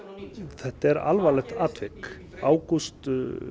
þetta er alvarlegt atvik ágúst